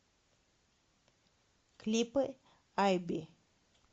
клипы айби